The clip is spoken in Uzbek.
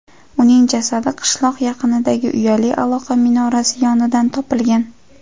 Uning jasadi qishloq yaqinidagi uyali aloqa minorasi yonidan topilgan.